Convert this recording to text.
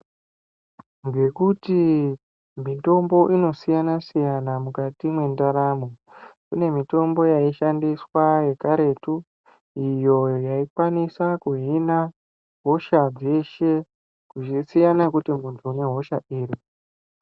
Ngekuti mitombo inosiyana-siyana mukati me endaramo. Kune mitombo yaishandiswa yekaretu iyo yaikwanisa kuhina hosha dzeshe, zvichisiyana kuti muntu une hosha iri.